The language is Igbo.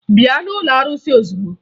Bịa n'ụlọ arụsị ozugbo!